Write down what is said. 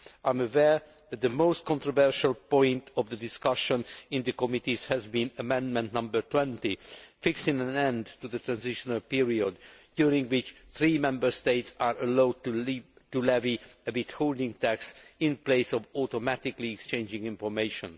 I am aware that the most controversial point of the discussions in the committees has been Amendment 20, fixing an end to the transitional period during which three Member States are allowed to levy a withholding tax in place of automatically exchanging information.